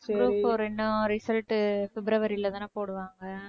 group four இன்னும் result உ பிப்ரவரில தான போடுவாங்க